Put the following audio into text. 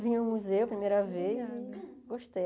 Vim ao museu a primeira vez e gostei.